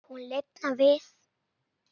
Hún lifnar við.